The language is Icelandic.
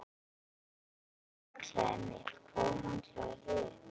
Hér er handklæðið mitt. Hvar er handklæðið þitt?